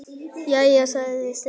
Jæja, sagði Stefán.